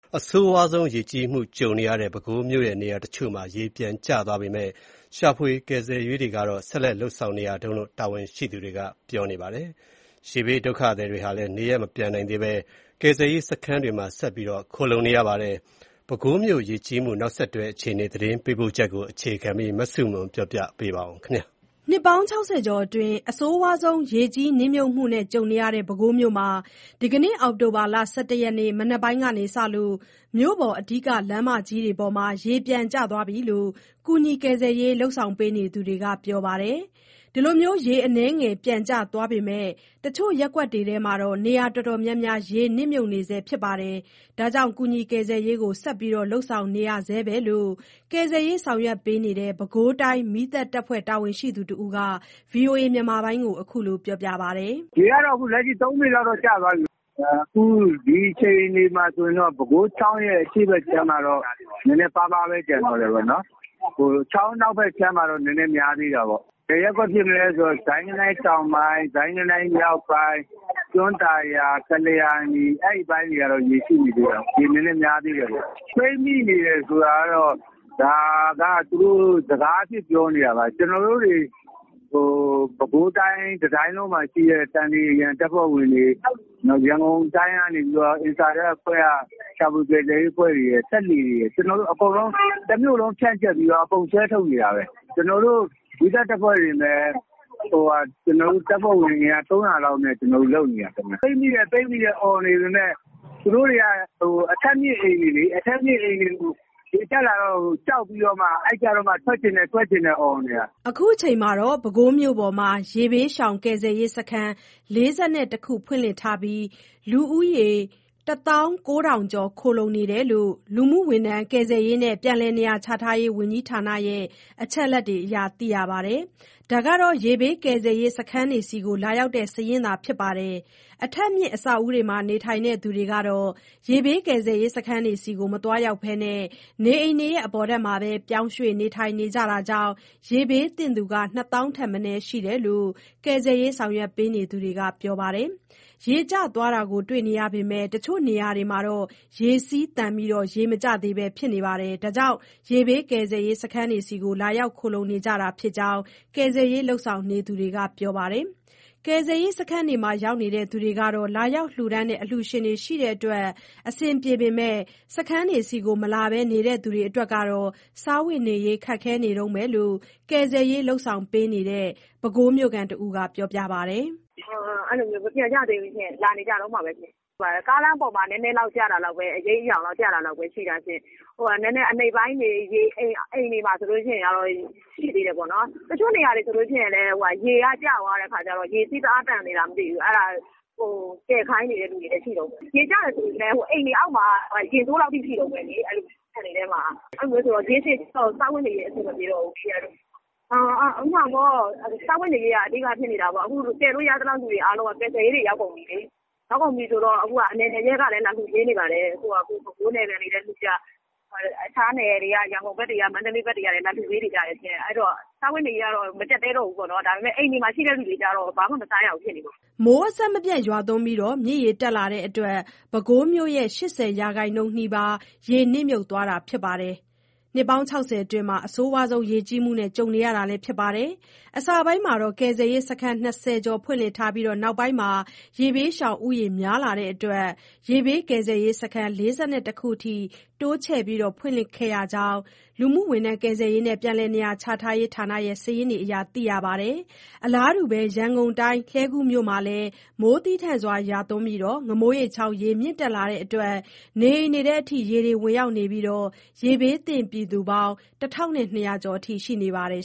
အဆိုးရွားဆုံးရေကြီးမှုကြုံနေရတဲ့ ပဲခူးမြို့ရဲ့ နေရာအချို့မှာ ရေပြန်ကျသွားပေမယ့် ရှာဖွေကယ်ဆယ်ရေးတွေ ဆက်လက် လုပ်ဆောင်နေရတုန်းလို့ တာဝန်ရှိသူတွေက ပြောပါတယ်။ ရေဘေးဒုက္ခသည်တွေဟာလည်း နေရပ်မပြန်နိုင်သေးဘဲ ကယ်ဆယ်ရေး စခန်းတွေမှာ ဆက်လက်ခိုလှုံနေရပါတယ်။ ပဲခူးမြို့ ရေကြီးမှု နောက်ဆက်တွဲ အခြေအနေ သတင်းပေးပို့ချက်ကို အခြေခံပြီး မဆုမွန်က ပြောပြပါမယ်။ နှစ်ပေါင်း ၆၀ ကျော်အတွင်း အဆိုးရွားဆုံး ရေကြီးနစ်မြုပ်မှုကြုံနေရတဲ့ ပဲခူးမြို့မှာ အောက်တိုဘာ ၁၁ ရက် မနက်ပိုင်းကစလို့ မြို့ပေါ်အဓိက လမ်းမကြီးတွေမှာ ရေပြန်ကျသွားတယ်လို့ ကယ်ဆယ်ရေး လုပ်ဆောင်နေသူတွေက ပြောပါတယ်။ ရေအနည်းငယ် ပြန်ကျသွားပေမဲ့ အချို့ရပ်ကွက်တွေက နေရာ အတော်များများမှာ ရေနစ်မြုပ်နေဆဲ ဖြစ်တဲ့အတွက် ကယ်ဆယ်ရေးကိုတော့ ဆက်လုပ်နေရဆဲပဲလို့ ကယ်ဆယ်ရေး ဆောင်ရွက်နေတဲ့ ပဲခူးတိုင်း မီးသတ်တပ်ဖွဲ့ တာဝန်ရှိသူတဦးက ဗွီအိုအေကို အခုလို ပြောပါတယ်။ “ရေက ၃ ပေ လောက်တော့ ကျသွားပြီ။ ဒီအခြေအနေမှာတော့ ပဲခူးချောင်းရဲ့ အရှေ့ဘက်ခြမ်းမှာတော့ နည်းနည်းပါးပါးပဲ ကျန်တော့တယ်ပေါ့။ ချောင်းအနောက်ဖက်ခြမ်းမှာတော့ နည်းနည်းများသေးတာပေါ့။ ဘယ်ရပ်ကွက်ဖြစ်မလဲဆိုတော့ ဇိုင်းဂနိုင်းမြောက်ပိုင်း ဇိုင်းဂနိုင်းတောင်ပိုင်း ကျွန်းသာယာ ကလျာဏီ အဲ့အရှေ့ပိုင်းတွေက ရေရှိသေးတယ်။ ရေနည်းနည်းများသေးတယ်။ ပိတ်မိနေတယ် ဆိုတာကတော့ ဒါက စကားအဖြစ်ပြောနေတာပါ။ ပဲခူးတိုင်းမှာရှိတဲ့ သန္ဓေအရံတပ်ဖွဲ့ဝင်တွေ၊ ရန်ကုန်တိုင်းက ရှာဖွေကယ်ဆယ်ရေးအဖွဲ့တွေ၊ ကျွန်တော်တို့ တမြို့လုံး ဖြန့်ကျက်ပြီး အကုန်ဆွဲထုတ်နေတာပဲ။ ကျွန်တော်တို့မီးသတ်တပ်ဖွဲ့ဝင် အင်အားတင်ပဲ ၃၀၀ လောက်နဲ့ လုပ်နေတာ။ ပိတ်မိတယ် အော်နေပေမယ့် သူတို့တွေက အထပ်မြင့်အိမ်တွေလေ။ ရေတက်လာမှ ကြောက်ပြီးတော့ ထွက်ချင်တယ် ထွက်ချင်တယ် အော်နေတာ။” အခုချိန်မှာ ပဲခူးမြို့ပေါ်မှာ ရေဘေးရှောင် ကယ်ဆယ်ရေးစခန်း ၄၁ ခု ဖွင့်လှစ်ထားပြီး လူဦးရေ ၁၉၀၀၀ ကျော် ခိုလှုံနေရတယ်လို့ လူမှုဝန်ထမ်းကယ်ဆယ်ရေးနဲ့ ပြန်လည်နေရာချထားရေး ဝန်ကြီးဌာနရဲ့ အချက်အလက်တွေအရ သိရပါတယ်။ ဒါဟာ ရေဘေးကယ်ဆယ်ရေး စခန်းတွေကို လာရောက်တဲ့ စာရင်းသာဖြစ်ပြီး အထပ်မြင့် အဆောက်အဦးတွေမှာ နေထိုင်သူတွေကတော့ ကယ်ဆယ်ရေး စခန်းတွေကို မသွားရောက်ဘဲ နေအိမ် အပေါ်ထပ်မှာပြောင်းရွှေ့နေထိုင်ကြတာကြောင့် ရေဘေးသင့်သူက ၂ သောင်းထက်မနည်း ရှိတယ်လို့ ကယ်ဆယ်ရေး ဆောင်ရွက်နေသူတွေက ပြောပါတယ်။ ရေကျသွားတာ တွေ့နေရပေမယ့် အချို့နေရာတွေမှာတော့ ရေစီးသန်ပြီး ရေမကျသေးတဲ့အတွက် ရေဘေးကယ်ဆယ်ရေး စခန်းတွေကို လာရောက်ခိုလှုံ နေကြတာ ဖြစ်ကြောင်း ကယ်ဆယ်ရေး လုပ်ဆောင်နေသူတွေက ပြောပါတယ်။ ကယ်ဆယ်ရေး စခန်းတွေမှာရောက်နေသူတွေကတော့ လာရောက်လှူဒါန်းတဲ့ အလှူရှင်တွေရှိတဲ့အတွက် အဆင်ပြေနေပေမယ့် စခန်းတွေကို မလာပဲ နေသူတွေကတော့ စားဝတ်နေရေး ခက်ခဲနေတုန်းလို့ ကယ်ဆယ်ရေးလုပ်ဆောင်နေတဲ့ မြို့ခံတဦးက အခုလို ပြောပါတယ်။ “မပြန်ကြသေးဘူး။ လာနေကြတုန်းပါပဲ။ ကားလမ်းပေါ်မှာ နည်းနည်းလောက်ကျတဲ့ အရိပ်အယောင်လောက်ပဲရှိတာ။ နည်းနည်း အနိမ့်ပိုင်းတွေ အိမ်တွေမှာဆိုရင် ရေကရှိသေးတယ်။ တချို့နေရာတွေမှာ ရေကျသွားပေမဲ့ ရေစီးတအားသန်နေလားမသိဘူး ကယ်ခိုင်းနေတဲ့သူတွေရှိနေတုန်းပဲ။ ကျတယ်ဆိုပေမဲ့ အိမ်တွေအောက်မှာက ရင်စို့လောက်ထိရှိနေတုန်းပဲ။ ခြံတွေထဲမှာ။ ရေရှည်ကြတော့ စားဝတ်နေရေး အဆင်မပြေတော့ဘူး။ စားဝတ်နေရေးက အဓိက ဖြစ်နေတာပေါ့။ ကယ်လို့ရသလောက်လူတွေက ကယ်ဆယ်ရေးတွေ ရောက်ကုန်ပြီလေ။ ရောက်ကုန်ပြီဆိုတော့ အနယ်နယ် အရပ်ရပ်ကလည်း လာလှုပေးနေပါတယ်။ ပဲခူးနယ်ခံတွေလည်းလှူကြ အခြားနယ်တွေ ရန်ကုန် မန္တလေး ဘက်တွေကလည်း လာလှူပေးနေကြတယ်။ စားဝတ်နေရေးကတော့ မကျပ်တည်းတော့ဘူးပေါ့နော်။ ဒါပေမယ့် အိမ်တွေမှာ နေတဲ့သူတွေက ဘာမှ မစားရဘူးဖြစ်နေလို့။” မိုးအဆက်မပြတ်ရွာသွန်းပြီး မြစ်ရေတက်လာတဲ့အတွက် ပဲခူးမြို့ရဲ့ ၈၀ ရာခိုင်နှုန်းနီးပါး ရေနစ်မြုပ်သွားတာဖြစ်ပြီး အဆိုးရွားဆုံးရေကြီးမှုနဲ့ ကြုံနေရတာလည်းဖြစ်ပါတယ်။ အစပိုင်းမှာ ကယ်ဆယ်ရေး စခန်း ၂၀ ကျော်ဖွင့်လှစ်ထားပြီး နောက်ပိုင်းမှာ ရေဘေးရှောင်ဦးရေ များလာတဲ့အတွက် ကယ်ဆယ်ရေး စခန်း ၄၁ ခုအထိ တိုးချဲ့ဖွင့်လှစ်ခဲ့ရကြောင်း လူကယ်ပြန်စာရင်းတွေအရ သိရပါတယ်။ အလားတူပဲ ရန်ကုန်တိုင်း လှည်းကူးမြို့မှာလည်း မိုးသည်းထန်စွာရွာသွန်းပြီး ငမိုးရိပ်ချောင်း ရေမြင့်တက်လာတဲ့အတွက် နေအိမ်တွေထဲ ရေတွေဝင်ရောက်နေပြီး ရေဘေးသင့်ပြည်သူ ၁၂၀၀ ကျော်ရှိနေပါတယ်